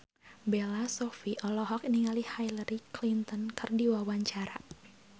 Bella Shofie olohok ningali Hillary Clinton keur diwawancara